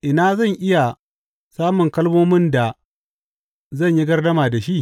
Ina zan iya samun kalmomin da zan yi gardama da shi?